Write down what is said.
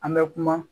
An bɛ kuma